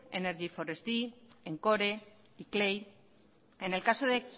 energy encore iclei en el caso de